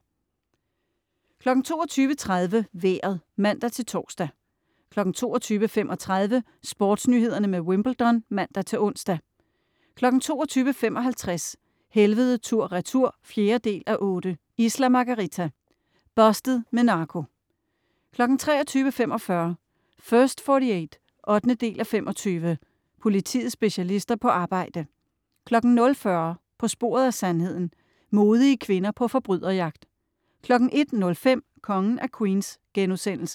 22.30 Vejret (man-tors) 22.35 SportsNyhederne med Wimbledon (man-ons) 22.55 Helvede tur/retur 4:8. Isla Margarita. "Busted" med narko 23.45 First 48 8:25. Politiets specialister på arbejde 00.40 På sporet af sandheden. Modige kvinder på forbryderjagt 01.05 Kongen af Queens*